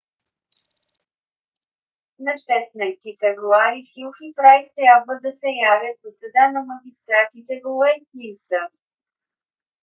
на 16 февруари хюхн и прайс трябва да се явят в съда на магистратите в уестминстър